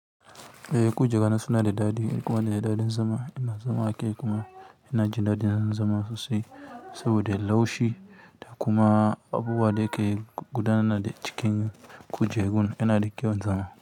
Eh, kujera na suna da daɗi kuma suna da daɗin zama. Ina zama akai kuma ina jin daɗin zama sosai saboda laushu da kuma abubuwan da ke gudana da cikin kujerun yana da kyau zama.